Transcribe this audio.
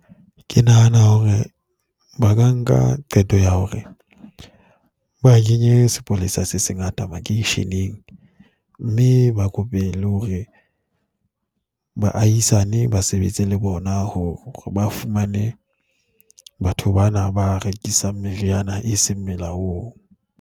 Ke nahana hore ba ka nka qeto ya hore ba kenye sepolesa se sengata makeisheneng mme ba kope le hore baahisane ba sebetse le bona hore ba fumane batho bana ba rekisang meriana e seng molaong.